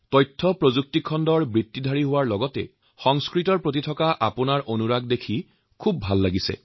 তথ্যপ্ৰযুক্তি কৰ্মী হোৱাৰ সমান্তৰালভাৱে সংস্কৃতৰ প্ৰতি আপোনাৰ এই আগ্ৰহ দেখি মোৰ যথেষ্ট ভাল লাগিল